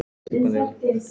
Ragnar kinkaði kolli.